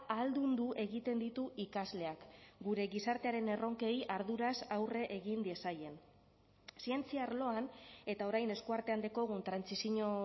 ahaldundu egiten ditu ikasleak gure gizartearen erronkei arduraz aurre egin diezaien zientzia arloan eta orain eskuartean daukagun trantsizio